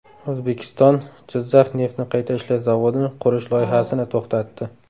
O‘zbekiston Jizzax neftni qayta ishlash zavodini qurish loyihasini to‘xtatdi.